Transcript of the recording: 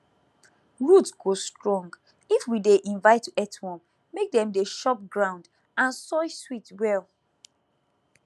root go strong if we dey invite earthworm make dem dey chop ground and soil sweet well